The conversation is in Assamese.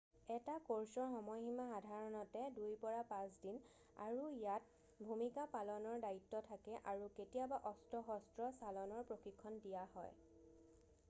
এটা ক'ৰ্ছৰ সময়সীমা সাধাৰণতে 2-5 দিন আৰু ইয়াত ভূমিকা পালনৰ দায়িত্ব থাকে আৰু কেতিয়াবা অস্ত্ৰ-শস্ত্ৰ চালনৰ প্ৰশিক্ষণ দিয়া হয়